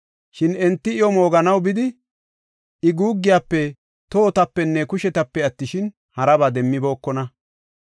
Shin enti iyo mooganaw bidi, I guuggiyafe, tohotapenne kushetape attishin, haraba demmibookona.